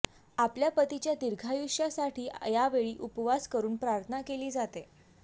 आपल्या पतीच्या दिर्घायुष्यासाठी यावेळी उपवास करून प्रार्थना केली जाते